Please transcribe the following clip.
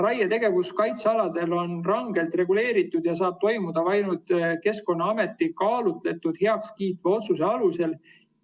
" Raietegevus kaitsealadel on rangelt reguleeritud ja saab toimuda ainult Keskkonnaameti kaalutletud heakskiitva otsuse alusel.